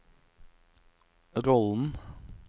rollen